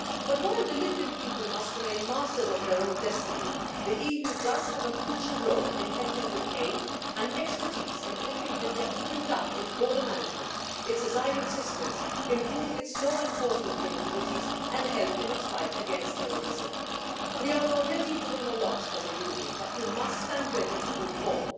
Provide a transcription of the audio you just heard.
But while the Libyan people must remain masters of their own destiny, the EU does have a crucial role in helping with aid and expertise in helping Libya to build up its border management and its asylum systems, improving its law enforcement capabilities and helping in its fight against terrorism. We are already doing a lot as a Union, but we must stand ready to do more.